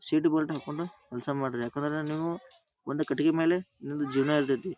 Seat belt ಹಾಕೊಂಡು ಕೆಲಸ ಮಾಡ್ರಿ ಯಾಕಂದ್ರೆ ನೀವು ಒಂದು ಕಟ್ಟಿಗೆ ಮೇಲೆ ನಿಮ್ಮದು ಜೀವನ ಇರತೈತಿ.